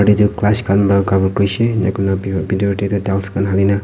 etu gass khan para cover kori se video dekhi kina dance Kora jisna--